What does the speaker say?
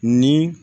Ni